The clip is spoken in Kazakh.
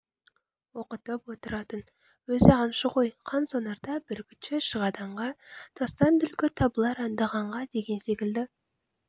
оқытып отыратын өзі аңшы ғой қансонарда бүркітші шығады аңға тастан түлкі табылар аңдығанға деген секілді